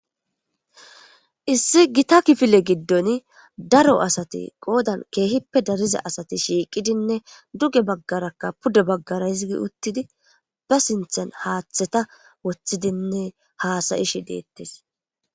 Issi gita kifile giddon daro asati qoodan keehippe dariza asati shiiqidinne duge baggarakka pude baggara hizi uttidi ba sinthan haaththeta woththidinne haasayishi deettes.